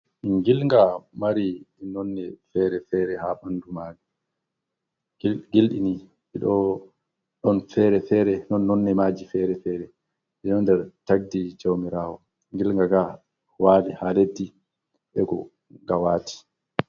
Ngilnga mari nonde fere-fere ha bandu maji. gildi gildi ni don fere-fere. Don nonde maji fere-fere. Dido nder tagdi jawmirawo. Ngilga ga wali ha leddi ego nga wati.